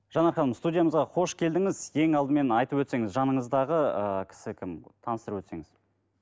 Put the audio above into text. жан апамыз студиямызға қош келдіңіз ең алдымен айтып өтсеңіз жаныңыздағы ыыы кісі кім таныстырып өтсеңіз